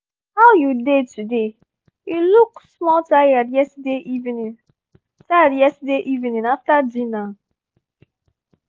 how you dey today? you look small tired yesterday evening tired yesterday evening after dinner.